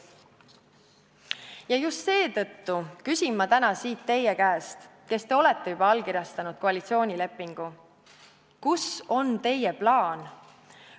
Ja just seetõttu küsin ma täna siit teie käest, kes te olete juba allkirjastanud koalitsioonilepingu: kus on teie plaan?